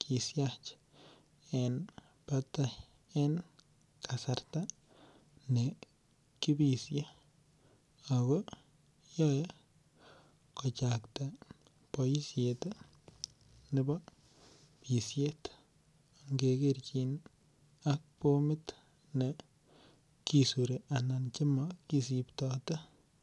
kisyach en batai en kasarta ne kibisye ago yoe kochakta boisiet nebo bisyet angekerchin ak bomit ne kisuri anan ko Che mo kisibtote